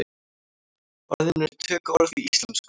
Orðið er tökuorð í íslensku.